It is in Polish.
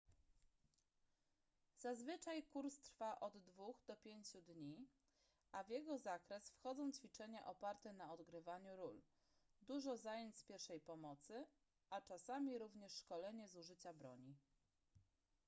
zazwyczaj kurs trwa od 2 do 5 dni a w jego zakres wchodzą ćwiczenia oparte na odgrywaniu ról dużo zajęć z pierwszej pomocy a czasami również szkolenie z użycia broni